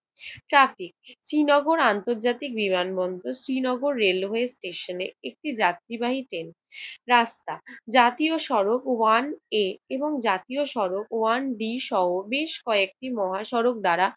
Traffic! Srinagar আন্তর্জাতিক বিমানবন্দর। Srinagar railway স্টেশনে একটি যাত্রীবাহী ট্রেন। রাস্তা! জাতীয় সড়ক ওয়ান এ এবং জাতীয় সড়ক ওয়ান বি সহ বেশ কয়েকটি মহাসড়ক দ্বারা